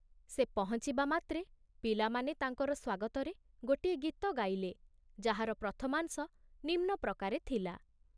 ସେ ପହଞ୍ଚିବା ମାତ୍ରେ ପିଲାମାନେ ତାଙ୍କର ସ୍ବାଗତରେ ଗୋଟିଏ ଗୀତ ଗାଇଲେ, ଯାହାର ପ୍ରଥମାଂଶ ନିମ୍ନ ପ୍ରକାରେ ଥିଲା